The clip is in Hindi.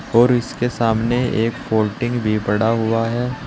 और इसके सामने एक फोल्डिंग भी पड़ा हुआ है।